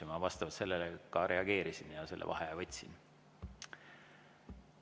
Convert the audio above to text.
Ja ma vastavalt sellele ka reageerisin ja selle vaheaja võtsin.